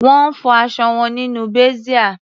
Wọ́n fọ aṣọ wọn nínú bàsíà.